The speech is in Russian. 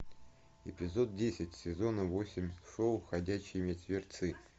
эпизод десять сезона восемь шоу ходячие мертвецы